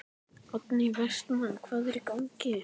Oddný Vestmann: Hvað er í gangi?